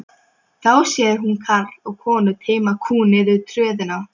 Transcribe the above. Þá sér hún karl og konu teyma kú niður tröðina.